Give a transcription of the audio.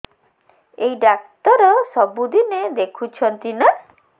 ଏଇ ଡ଼ାକ୍ତର ସବୁଦିନେ ଦେଖୁଛନ୍ତି ନା